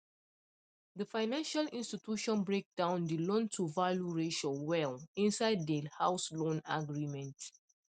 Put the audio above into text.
the financial institution break down the loantovalue ratio well inside the house loan agreement